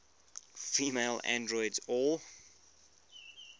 female androids or